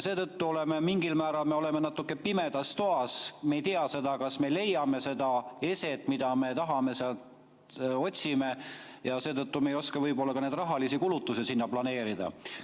Seetõttu oleme me mingil määral nagu pimedas toas – me ei tea seda, kas me leiame seda eset, mida me otsime – ja seetõttu me ei oska võib-olla ka neid rahalisi kulutusi sinna planeerida.